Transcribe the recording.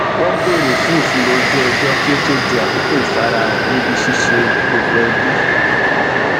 wọn bèrè fún ìfilọ ojú ọjọ kí ó to di àkókò ìfarahàn níbi ṣíṣe gbogbo ẹbì